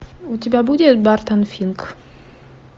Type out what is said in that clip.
у тебя будет бартон финк